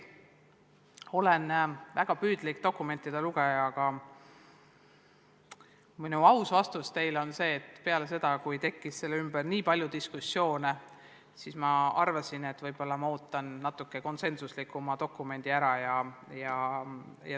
Olen väga püüdlik dokumentide lugeja, aga minu aus vastus teile on, et pärast seda, kui selle kava ümber tekkis nii palju diskussioone, ma arvasin, et ma ootan natuke konsensuslikuma dokumendi ära.